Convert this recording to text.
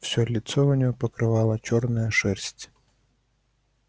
всё лицо у неё покрывала чёрная шерсть